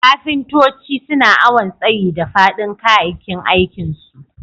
Kafintoci suna awon tsayi da fadin kayakin aikin su.